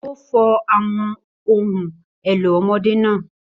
Ó fọ àwọn ohun èlò ọmọdé náà.